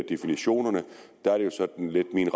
definitionerne er det jo sådan lidt min